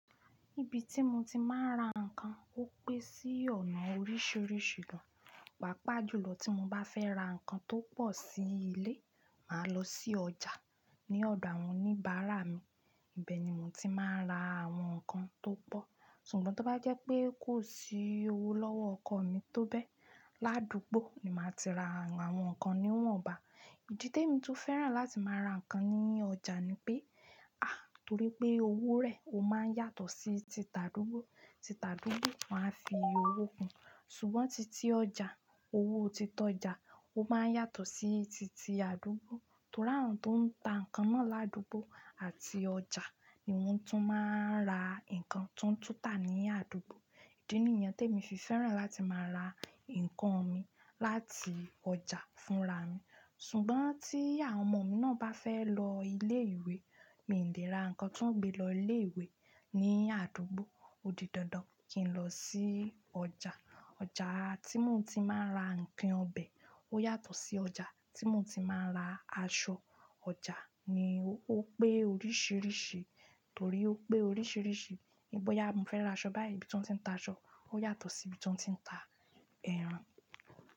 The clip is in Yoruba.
Ibi tí mo ti máa ń ra ǹkan ó pé sí ọ̀nà oríṣìíríṣìí gan. Paàpá jùlọ tí mo bá fẹ́ ra ǹkan tó pọ̀ sí ilé, màá lọ sí ọjà ní ọ̀dọ̀ àwọn oníbàárà mi. Ibẹ̀ ni mo ti máa ń ra àwọn ǹkan tó pọ̀. Ṣùgbọ́n to bá jẹ pé kò sí owó lọwọ ọkọ mi to bẹ ládugbó ní máa ti ra àwọn nkán niwọn bá. Ìdí té mi tún fẹ́ràn láti máa ra ǹkan ní ọjà ni pé, àń, torí pé owó rẹ̀ ó máa ń yàtọ̀ sí ti tàdúgbò. Ti tàdúgbò máa ń fi owó kun. Ṣùgbọ́n titi ọjà, owó titi ọjà ó máa ń yàtọ̀ sí titi àdúgbò. Torí àwọn tó ń ta ǹkan náà ládùúgbò àti ọjà ni wọ́n tún máa ń ra ǹkan tó ń túta ní àdúgbò. Ìdí nìyẹn té mi fi fẹ́ràn láti máa ra ǹkan mi láti ọjà fúnra mi. Ṣùgbọ́n tí àwọn ọmọ mi náà bá fẹ́ lọ ilé ìwé, mi ò lè ra ǹkan tí wọ́n gbé lọ ilé ìwé ní àdúgbò. Odi dandan kí n lọ sí ọjà. Ọjà tí mo ti máa ń ra ǹkan ọbẹ̀ ó yàtọ̀ sí ọjà tí mo ti máa ń ra aṣọ. Ọjà ni ó pé oríṣìíríṣìí, torí ó pé oríṣìíríṣìí, níbọ́ yáa mi fẹ́ ra aṣọ báyìí, ibi tí wọ́n ti ń ta aṣọ ó yàtọ̀ sí ibi tí wọ́n ti ń ta ẹran.